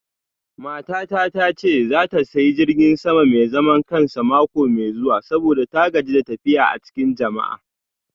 Matata ta ce za ta sayi jirgin sama mai zaman kansa mako mai zuwa saboda ta gaji da tafiya a cikin jama'a.